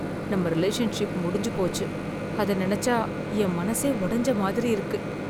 நம்ம ரிலேஷன்ஷிப் முடிஞ்சு போச்சு, அத நினைச்சா என் மனசே ஒடஞ்ச மாதிரி இருக்கு